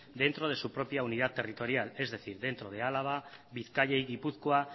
dentro de su propia unidad territorial es decir dentro de álava bizkaia y gipuzkoa